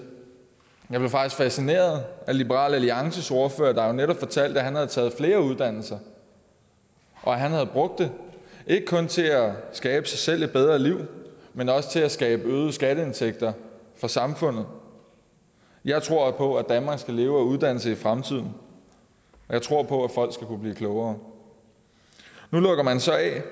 jeg blev faktisk fascineret af liberal alliances ordfører der jo netop fortalte at han havde taget flere uddannelser og at han havde brugt det ikke kun til at skabe sig selv et bedre liv men også til at skabe øgede skatteindtægter for samfundet jeg tror på at danmark skal leve af uddannelse i fremtiden og jeg tror på at folk skal kunne blive klogere nu lukker man så af